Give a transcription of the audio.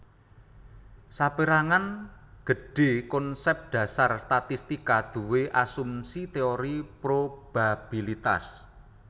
Sapérangan gedhé konsèp dhasar statistika duwé asumsi téori probabilitas